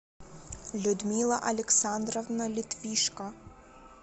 людмила александровна литвишко